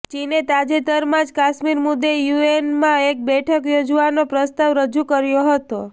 ચીને તાજેતરમાં જ કાશ્મીર મુદ્દે યૂએનમાં એક બેઠક યોજવાનો પ્રસ્તાવ રજૂ કર્યો હતો